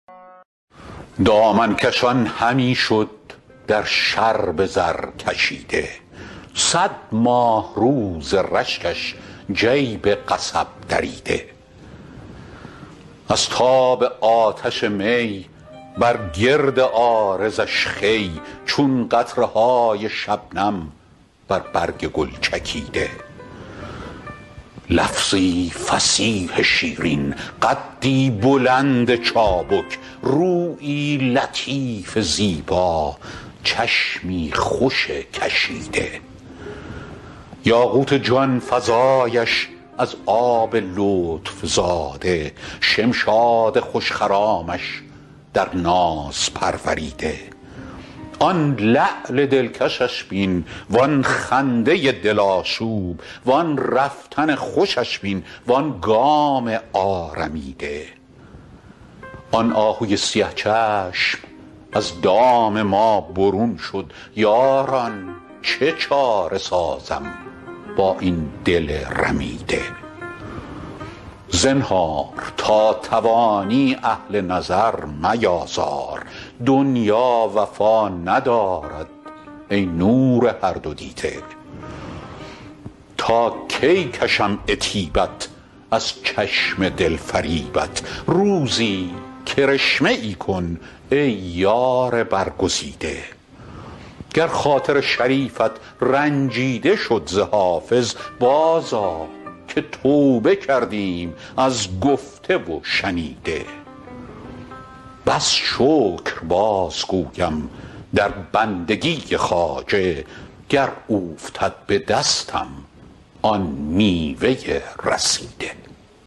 دامن کشان همی شد در شرب زرکشیده صد ماهرو ز رشکش جیب قصب دریده از تاب آتش می بر گرد عارضش خوی چون قطره های شبنم بر برگ گل چکیده لفظی فصیح شیرین قدی بلند چابک رویی لطیف زیبا چشمی خوش کشیده یاقوت جان فزایش از آب لطف زاده شمشاد خوش خرامش در ناز پروریده آن لعل دلکشش بین وآن خنده دل آشوب وآن رفتن خوشش بین وآن گام آرمیده آن آهوی سیه چشم از دام ما برون شد یاران چه چاره سازم با این دل رمیده زنهار تا توانی اهل نظر میآزار دنیا وفا ندارد ای نور هر دو دیده تا کی کشم عتیبت از چشم دل فریبت روزی کرشمه ای کن ای یار برگزیده گر خاطر شریفت رنجیده شد ز حافظ بازآ که توبه کردیم از گفته و شنیده بس شکر بازگویم در بندگی خواجه گر اوفتد به دستم آن میوه رسیده